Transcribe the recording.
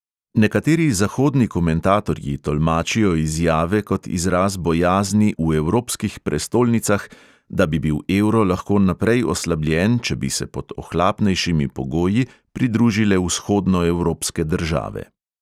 Nekateri zahodni komentatorji tolmačijo izjave kot izraz bojazni "v evropskih prestolnicah", da bi bil evro lahko naprej oslabljen, če bi se pod ohlapnejšimi pogoji pridružile vzhodnoevropske države.